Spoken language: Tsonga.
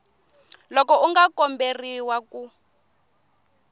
loko u nga komberiwa ku